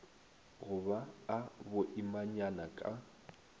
go ba a boimanyana ka